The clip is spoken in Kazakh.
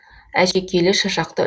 әшекейлі шашақты